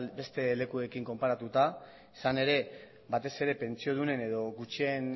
beste lekuekin konparatuta izan ere batez ere pentsiodunen edo gutxien